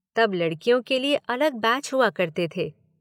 तब लड़कियों के लिए अलग बैच हुआ करते थे।